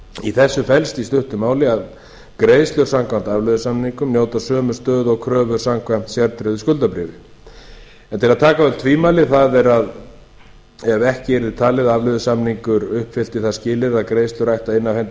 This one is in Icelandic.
í þessu felst í stuttu máli að greiðslur samkvæmt afleiðusamningum njóta sömu stöðu og kröfur samkvæmt sértryggðu skuldabréfi til að taka af öll tvímæli það er ef ekki yrði talið að afleiðusamningur uppfyllti það skilyrði að greiðslur ætti að inna af hendi